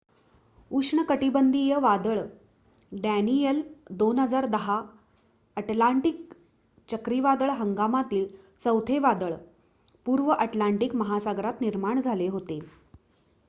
उष्णकटिबंधीय वादळ Daniel 2010 Atlantic चक्रीवादळ हंगामातील चौथे वादळ पूर्व अटलांटिक महासागरात निर्माण झाले होते